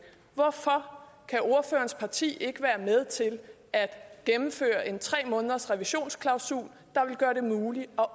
hvorfor kan ordførerens parti ikke være med til at gennemføre en tre månedersrevisionsklausul der vil gøre det muligt at